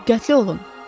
Diqqətli olun.